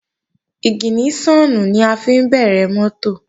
Ìgìníṣọ̀nù ni a fi ń bẹ̀rẹ̀ mọ́tò